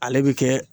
Ale bɛ kɛ